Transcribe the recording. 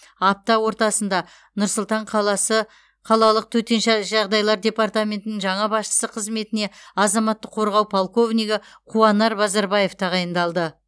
апта ортасында нұр сұлтан қаласы қалалық төтенше жағдайлар департаментінің жаңа басшысы қызметіне азаматтық қорғау полковнигі қуанар базарбаев тағайындалды